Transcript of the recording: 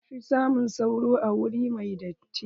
An fi samun sauro a wuri mai datti.